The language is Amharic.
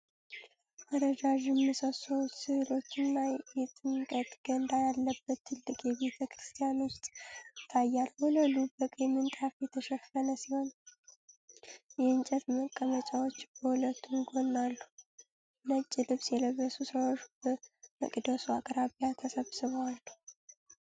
ረጃጅም ምሰሶዎች፣ ሥዕሎችና የጥምቀት ገንዳ ያለበት ትልቅ የቤተ ክርስቲያን ውስጥ ይታያል። ወለሉ በቀይ ምንጣፍ የተሸፈነ ሲሆን፣ የእንጨት መቀመጫዎች በሁለቱም ጎን አሉ። ነጭ ልብስ የለበሱ ሰዎች በመቅደሱ አቅራቢያ ተሰብስበው አሉ።